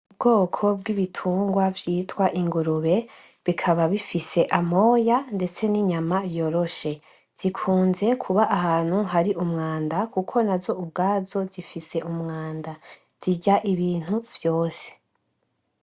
Ubwoko bw’ibiterwa vyitwa ingurubu bikaba bifise amoya ndetse ninyama yoroshe zikunze kuba ahantu hari umwanda kuko nazo ubwazo zifise umwanda ,zirya ibintu vyose .